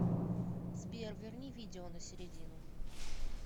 сбер верни видео на середину